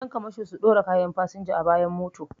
Ƴan kamasho su ɗora kayan fasinja a bayan mota